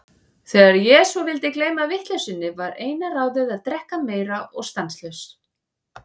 Þegar ég svo vildi gleyma vitleysunni, var eina ráðið að drekka meira og stanslaust.